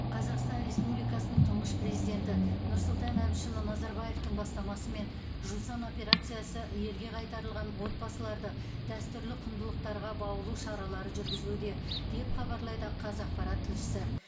қазақстан республикасының тұңғыш президенті нұрсұлтан әбішұлы назарбаевтың бастамасымен жусан операциясы елге қайтарылған отбасыларды дәстүрлі құндылықтарға баулу шаралары жүргізілуде деп хабарлайды қазақпарат тілшісі